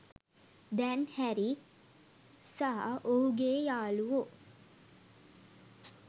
දැන් හැරී සහ ඔහුගේ යාළුවෝ